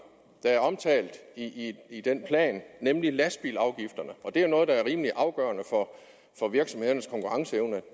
der er omtalt i den plan nemlig lastbilafgifterne det er noget der er rimelig afgørende for virksomhedernes konkurrenceevne